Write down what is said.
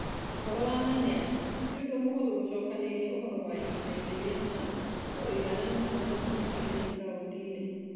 Ũhoro wa ma nĩ atĩ, ti ũndũ mũhũthũ gũcokanĩrĩria ũhoro wa ihinda-inĩ rĩa ma na ũigananĩru mũnene bũrũri-inĩ na kaunti-inĩ.